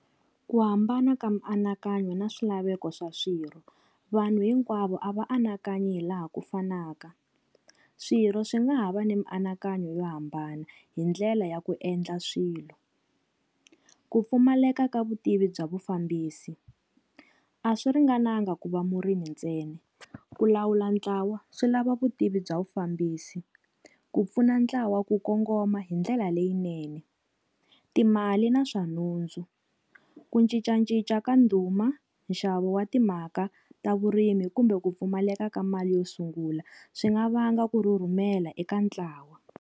Ku hambana ka mianakanyo na swilaveko swa swirho, vanhu hinkwavo a va anakanyi hi laha ku fanaka. Swirho swi nga ha va ni mianakanyo yo hambana hi ndlela ya ku endla swilo. Ku pfumaleka ka vutivi bya vufambisi, a swi ringananga ku va murimi ntsena. Ku lawula ntlawa swi lava vutivi bya vufambisi, ku pfuna ntlawa ku kongoma hi ndlela leyinene, timali na swa nhundzu. Ku cincacinca ka ndhuma, nxavo wa timhaka ta vurimi kumbe ku pfumaleka ka mali yo sungula, swi nga vanga ku rhurhumela eka ntlawa.